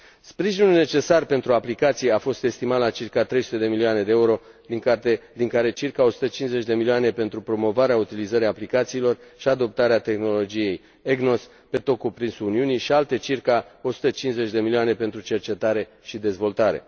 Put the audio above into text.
Sprijinul necesar pentru aplicații a fost estimat la circa 300 de milioane de euro, din care circa 150 de milioane pentru promovarea utilizării aplicațiilor și adoptarea tehnologiei EGNOS pe tot cuprinsul Uniunii și alte circa 150 de milioane pentru cercetare și dezvoltare.